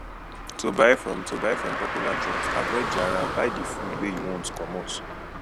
to buy from to buy from popular joint avoid jara buy di food wey you want commot